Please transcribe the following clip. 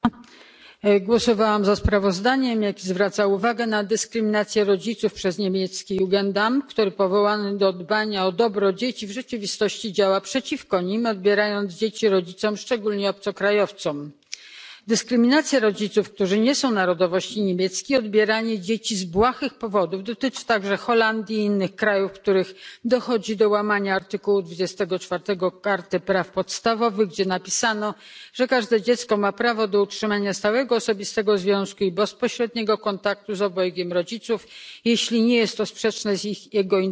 Głosowałam za sprawozdaniem, które zwraca uwagę na dyskryminację rodziców przez niemiecki Jugendamt, który powołany do dbania o dobro dzieci w rzeczywistości działa przeciwko nim, odbierając dzieci rodzicom, szczególnie obcokrajowcom. Dyskryminacja rodziców, którzy nie są narodowości niemieckiej, odbieranie dzieci z błahych powodów, dotyczy także Holandii i innych krajów, w których dochodzi do łamania artykułu 24 Karty praw podstawowych, gdzie napisano, że każde dziecko ma prawo do utrzymania stałego osobistego związku i bezpośredniego kontaktu z obojgiem rodziców, jeśli nie jest to sprzeczne z jego interesami.